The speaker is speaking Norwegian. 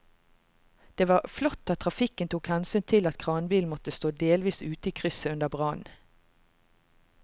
Det var flott at trafikken tok hensyn til at kranbilen måtte stå delvis ute i krysset under brannen.